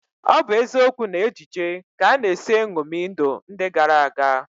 Ọ bụ eziokwu na ejije ka a na-esi eṅomi ndụ ndị gara aga